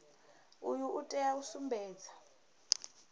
uyu u tea u sumbedza